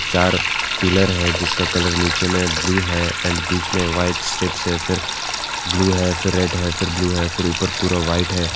चार पिलर है जिसका कॉलर नीचे में ब्लू है एण्ड बीच में व्हाइट स्ट्रिप है फिर ब्लू है फिर रेड है फिर ब्लू है फिर ऊपर पूरा वाइट है।